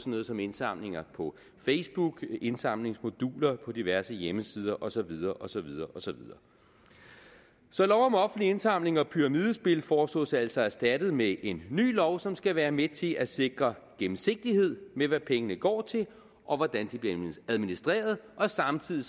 noget som indsamlinger på facebook indsamlingsmoduler på diverse hjemmesider og så videre og så videre så lov om offentlig indsamling og pyramidespil foreslås altså erstattet med en ny lov som skal være med til at sikre gennemsigtighed med hvad pengene går til og hvordan de bliver administreret og samtidig